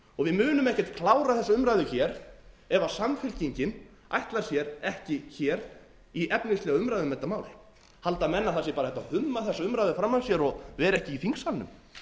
við munum ekkert klára þessa umræðu hér ef samfylkingin ætlar sér ekki hér í efnislega umræðu um þetta mál halda menn að það sé bara hægt að humma þessa umræðu fram af sér og vera ekki í þingsalnum